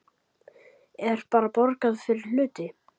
Er bara borgað fyrir hluti?